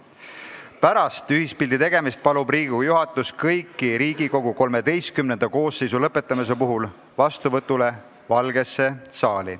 Ja kolmandaks, pärast ühispildi tegemist palub Riigikogu juhatus kõiki Riigikogu XIII koosseisu lõpetamise puhul vastuvõtule Valgesse saali.